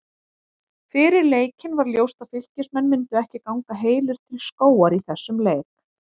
Fyrir leikinn var ljóst að Fylkismenn myndu ekki ganga heilir til skógar í þessum leik.